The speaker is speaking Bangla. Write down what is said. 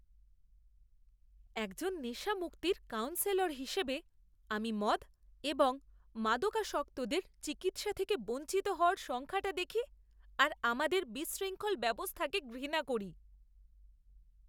একজন নেশামুক্তির কাউন্সেলর হিসেবে, আমি মদ এবং মাদকাসক্তদের চিকিৎসা থেকে বঞ্চিত হওয়ার সংখ্যাটা দেখি আর আমাদের বিশৃঙ্খল ব্যবস্থাকে ঘৃণা করি।